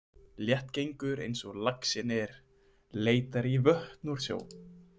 Léttgengur eins og laxinn er leitar í vötn úr sjó.